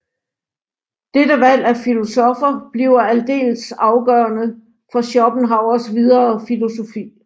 Dette valg af filosoffer bliver aldeles afgørende for Schopenhauers videre filosofi